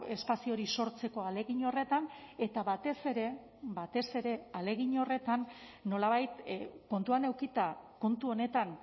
espazio hori sortzeko ahalegin horretan eta batez ere batez ere ahalegin horretan nolabait kontuan edukita kontu honetan